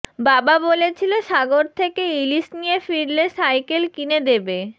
বাবা বলেছিল সাগর থেকে ইলিশ নিয়ে ফিরলে সাইকেল কিনে দেবে